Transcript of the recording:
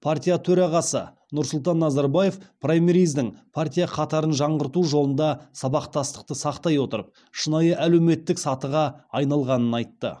партия төрағасы нұрсұлтан назарбаев праймериздің партия қатарын жаңғырту жолында сабақтастықты сақтай отырып шынайы әлеуметтік сатыға айналғанын айтты